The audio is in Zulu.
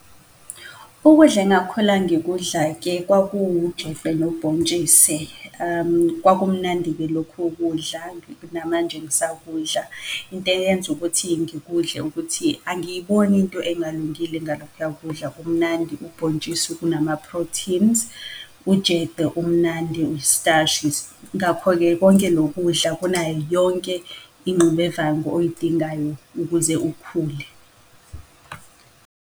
Ukudla engakhula ngikudla-ke kwakuwujeqe nobhontshise , kwakumnandi-ke lokho kudla, namanje ngisakudla. Into eyenza ukuthi ngikudle ukuthi angiyiboni into engalungile ngalokhuya kudla, kumnandi ubhontshisi kunama-proteins, ujeqe umnandi, istashi. Ngakho-ke konke lo kudla kunayo yonke ingxubevangu oyidingayo, ukuze ukhule.